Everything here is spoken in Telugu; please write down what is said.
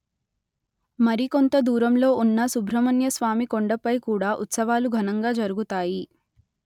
మరి కొంత దూరంలో ఉన్న సుబ్రహ్మణ్య స్వామి కొండపై కూడా ఉత్సవాలు ఘనంగా జరుగుతాయి